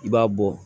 I b'a bɔ